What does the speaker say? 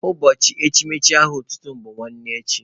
Ụbọchị echimechi aha otutu mụ bụ nwanne echi.